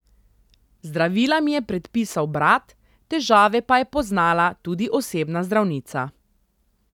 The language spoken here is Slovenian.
Zdravila mi je predpisal brat, težave pa je poznala tudi osebna zdravnica.